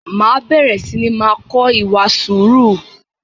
Máa bẹ̀rẹ̀ sini máa kọ ìwà sùúrù